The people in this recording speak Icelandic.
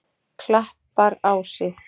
Klapparási